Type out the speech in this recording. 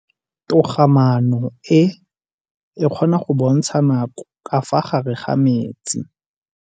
Toga-maanô e, e kgona go bontsha nakô ka fa gare ga metsi.